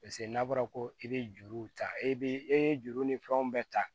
Paseke n'a bɔra ko i bɛ juruw ta e bɛ e ye juru ni fɛnw bɛ ta